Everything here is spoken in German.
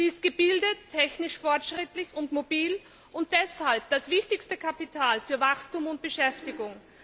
Sie ist gebildet, technisch fortschrittlich und mobil und deshalb das wichtigste Kapital für Wachstum und Beschäftigung.